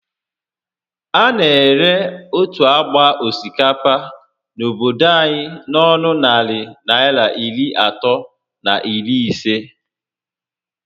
A na ere otu ágbá osikapa n'obodo anyị n'ọnụ narị Naịra iri atọ na iri isé